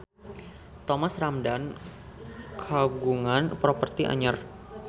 Thomas Ramdhan kagungan properti anyar